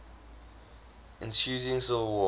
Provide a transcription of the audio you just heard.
ensuing civil war